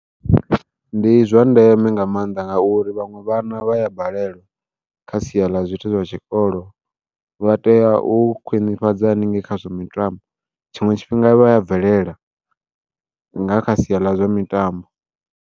Ndi zwa ndeme nga maanḓa ngauri vhaṅwe vhana vha ya balelwa, kha sia ḽa zwithu zwa tshikolo vha tea u khwiṋifhadza haningei khazwa mitambo tshiṅwe tshifhinga vha ya bvelela nga kha sia ḽa zwa mitambo.